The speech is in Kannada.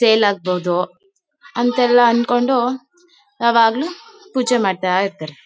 ಸೇಲ್ ಆಗ್ಬಹುದು ಅಂತೆಲ್ಲ ಅನ್ಕೊಂಡು ಯಾವಾಗ್ಲೂ ಪೂಜೆ ಮಾಡ್ತಾ ಇರ್ತಾರೆ.